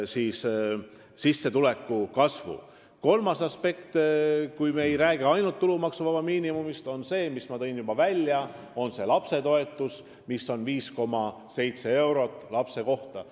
Kui mitte ainult tulumaksuvabast miinimumist rääkida, siis kolmas aspekt on see, mille ma ka juba välja tõin – lapsetoetus, mis on 5,7 eurot lapse kohta.